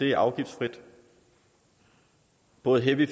er afgiftsfrit både heavy